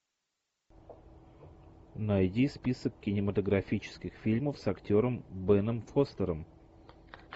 найди список кинематографических фильмов с актером беном фостером